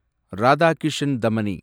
Radhakishan Damani